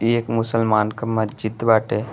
ई एक मुसलमान क मस्जिद बाटे।